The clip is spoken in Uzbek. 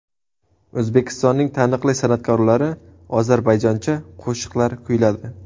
O‘zbekistonning taniqli san’atkorlari ozarbayjoncha qo‘shiqlar kuyladi.